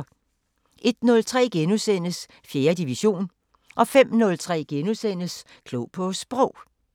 01:03: 4. division * 05:03: Klog på Sprog *